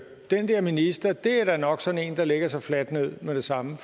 den der minister da nok er sådan en der lægger sig fladt ned med det samme